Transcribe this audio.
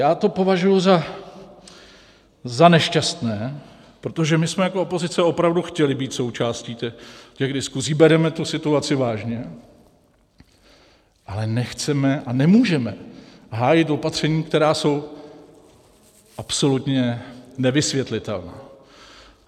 Já to považuji za nešťastné, protože my jsme jako opozice opravdu chtěli být součástí těch diskusí, bereme tu situaci vážně, ale nechceme a nemůžeme hájit opatření, která jsou absolutně nevysvětlitelná.